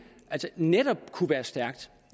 netop kunne være stærkt